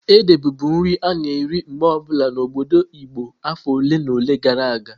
Ede bụbu nri a-na eri mgbe obula n'obodo Igbo afọ ole na ole gara aga.